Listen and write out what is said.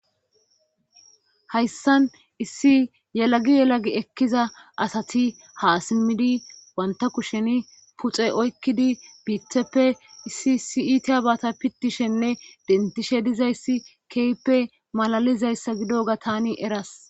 hayssan issi yelagi yelagi ekkiza asati ha simmidi wanta kushen puxe oykkidi biitheppe issi issi abata pitishenne dentishe dizayssi keype malalizayssa gidoga tani eras.